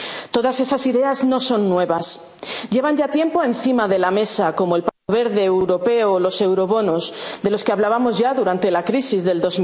sentido. Todas esas ideas no son nuevas, llevan ya tiempo encima de la mesa, como el Pacto Verde Europeo o los eurobonos, de los que hablábamos ya durante la